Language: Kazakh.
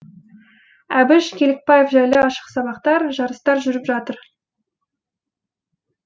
әбіш кекілбаев жайлы ашық сабақтар жарыстар жүріп жатыр